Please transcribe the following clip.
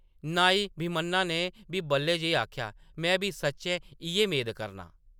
नाई भीमन्ना ने बी बल्लै जेही आखेआ, “में बी सच्चैं इ’यै मेद करनां।